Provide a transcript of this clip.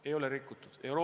Ei ole rikutud!